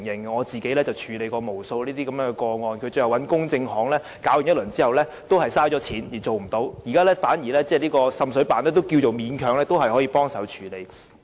我曾經處理無數類似個案，就是市民委託公證行調查，最終花了錢卻也處理不到滲水問題，反而滲水辦現時勉強也算是個方法。